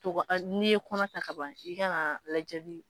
To ka an, n'i ye kɔnɔ ta ka ban, i kan ka lajɛli.